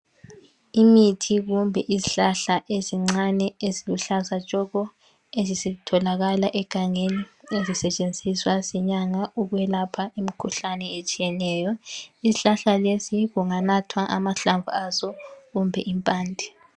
Imithi kumbe izihlahla ezincane eziluhlaza tshoko, ezitholakala egangeni ezisetshenziswa zinyanga ukwelapha imikhuhlane etshiyeneyo, ishlahla lesi kunganathwa amahlamvu aso kumbe impande.